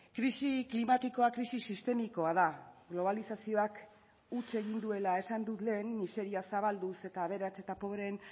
krisi klimatikoa krisi sistemikoa da globalizazioak huts egin duela esan dut lehen miseria zabalduz eta aberats eta pobreen